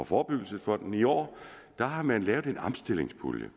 forebyggelsesfonden i år har man lavet en omstillingspulje